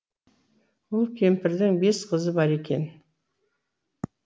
ол кемпірдің бес қызы бар екен